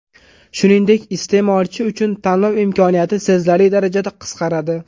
Shuningdek, iste’molchi uchun tanlov imkoniyati sezilarli darajada qisqaradi.